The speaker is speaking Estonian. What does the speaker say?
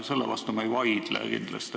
Selle vastu ma ei vaidle kindlasti.